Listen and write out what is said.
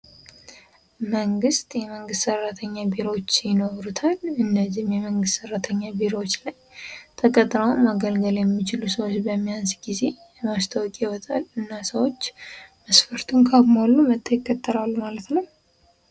መንግስት የመንግስት ሰራተኛ ቢሮዎች ይኖሩታል እነዚህም የመንግስት ሰራተኛ ቢሮዎች ላይ ተቀጥረው ማገልገል የሚችሉ ሰዎች በሚያንስ ጊዜ ማስታወቂያ ይወጣል። እና ሰዎች መስፈርቱን ካሟሉ መተው ይቀጠራሉ ማለት ነው።